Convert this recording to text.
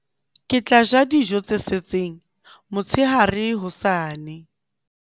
ke tla ja dijo tse setseng motshehare hosane